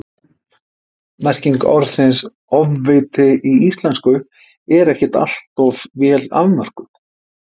merking orðsins „ofviti í íslensku er ekkert alltof vel afmörkuð